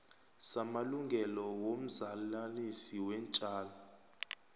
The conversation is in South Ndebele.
samalungelo womzalanisi weentjalo